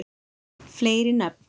fleiri nöfn